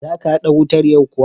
Za ka haɗa wutar yau kuwa?